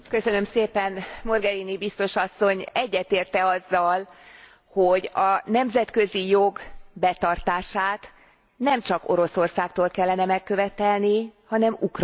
Mogherini biztos asszony egyetért e azzal, hogy a nemzetközi jog betartását nemcsak Oroszországtól kellene megkövetelni, hanem Ukrajnától is.